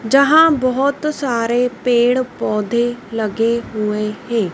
जहां बहोत सारे पेड़ पौधे लगे हुए हैं।